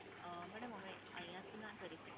અમ મેડમ, અમે અહીંયાથી ના કરી શકીયે.